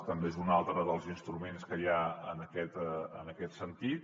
també és un altre dels instruments que hi ha en aquest sentit